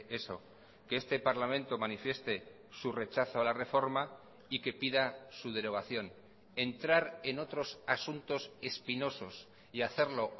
eso que este parlamento manifieste su rechazo a la reforma y que pida su derogación entrar en otros asuntos espinosos y hacerlo